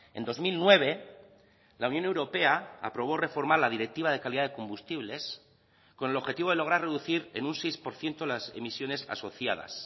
en dos mil nueve la unión europea aprobó reformar la directiva de calidad de combustibles con el objetivo de lograr reducir en un seis por ciento las emisiones asociadas